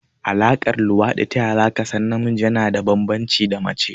A Alaƙar luwaɗi taya zaka san namiji yana da banbanci da mace?